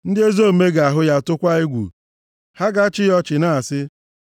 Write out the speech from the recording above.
Ndị ezi omume ga-ahụ ya tụkwaa egwu; ha ga-achị ya ọchị na-asị,